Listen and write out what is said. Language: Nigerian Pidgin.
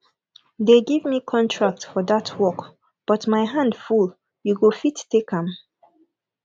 they give me contract for dat work but my hand full you go fit take am